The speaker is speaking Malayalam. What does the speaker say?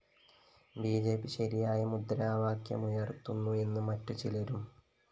ബി ജെ പി ശരിയായ മുദ്രാവാക്യമുയര്‍ത്തുന്നു എന്ന് മറ്റ് ചിലരും